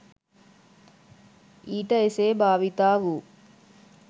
ඊට එසේ භාවිතා වූ